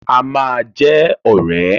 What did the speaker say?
A máa jẹ́ ọ̀rẹ́.